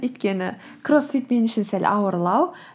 өйткені кроссфит мен үшін сәл ауырлау